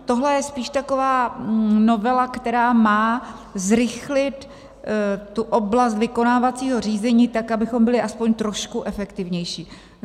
Tohle je spíš taková novela, která má zrychlit tu oblast vykonávacího řízení tak, abychom byli aspoň trošku efektivnější.